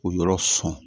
O yɔrɔ sɔn